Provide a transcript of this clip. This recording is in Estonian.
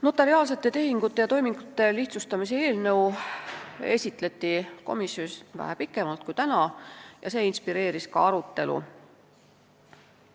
Notariaalsete tehingute ja toimingute lihtsustamise eelnõu esitleti komisjonis vähe pikemalt kui täna siin ja see inspireeris ka arutelu.